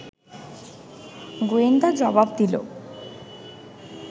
গোয়েন্দা জবাব দিল